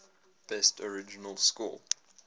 best original score